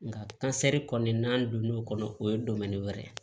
Nga kɔni n'an donn'o kɔnɔ o ye wɛrɛ ye